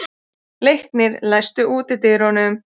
Leiknir, læstu útidyrunum.